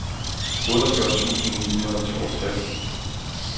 otteogfyrre tusind ni hundrede og toogtres